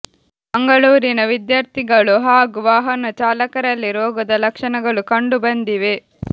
ಮಂಗಳೂರಿನ ವಿದ್ಯಾರ್ಥಿಗಳು ಹಾಗೂ ವಾಹನ ಚಾಲಕರಲ್ಲಿ ರೋಗದ ಲಕ್ಷಣಗಳು ಕಂಡು ಬಂದಿವೆ